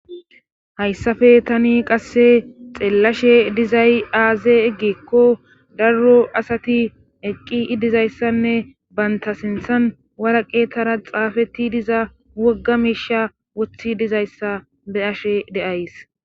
Hayssappe tani qasse xeellashe dizay aaze gikko daro asati eqqidiza issanne banta sinthan woraqatara xaafeti diza wogga miisha woththi diza issa be'ashe days.